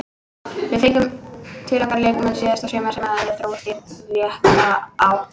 Við fengum til okkar leikmenn síðasta sumar sem eru að þróast í rétta átt.